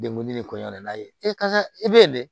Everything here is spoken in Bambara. Dekun de koɲa n'a ye e karisa i be yen dɛ